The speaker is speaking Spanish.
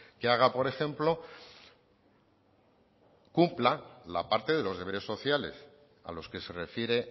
que haga por ejemplo cumpla la parte de los deberes sociales a los que se refiere